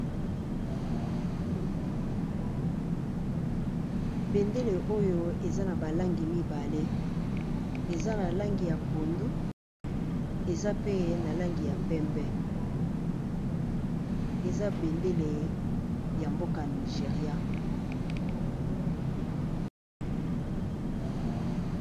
Bendele oyo eza na ba langi mibale eza na langi ya pondu, eza pe na langi ya pembe, eza bendele ya mboka Nigeria.